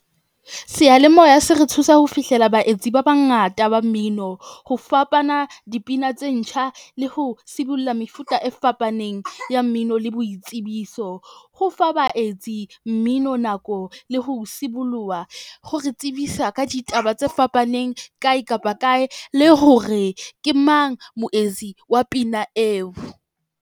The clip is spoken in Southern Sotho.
Seyalemoya se re thusa ho fihlela baetsi ba bangata ba mmino. Ho fapana dipina tse ntjha le ho sibulla mefuta e fapaneng ya mmino le boitsebiso. Ho fa baetsi mmino nako le ho siboloha hore tsebisa ka ditaba tse fapaneng kae kapa kae le hore ke mang moetsi wa pina eo.